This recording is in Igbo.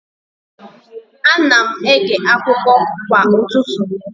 Ana m ege akụkọ kwa ụtụtụ.